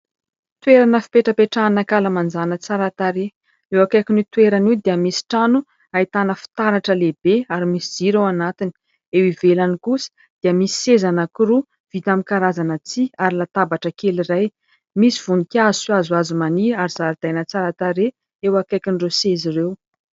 Toerana fipetrapetrahana ankalamanjana tsara tarehy ; eo akaikin'io toerana io dia misy trano ahitana fitaratra lehibe ary misy jiro ao anatiny, eo ivelany kosa dia misy seza anankiroa vita amin'ny karazana tsihy ary latabatra kely iray misy voninkazo sy hazohazo maniry ary zaridaina tsara tarehy eo akaikin'ireo seza ireo.